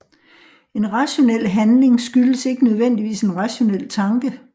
En rationel handling skyldes ikke nødvendigvis en rationel tanke